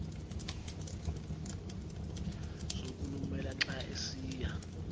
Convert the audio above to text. sokulumela xa esiya